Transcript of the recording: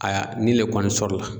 Aya ni le kɔni sɔrɔ la.